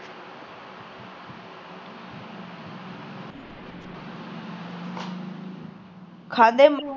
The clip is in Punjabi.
ਖਾਦੇ ਅਮਰੂਦ